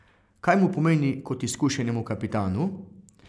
Kaj mu pomeni kot izkušenemu kapitanu?